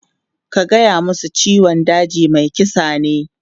Ka gaya musu cewa "ciwon kaji mai kisa ne!".